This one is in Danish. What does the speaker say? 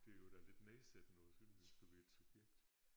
Det er jo da lidt nedsættende også synes jeg at skulle være et subjekt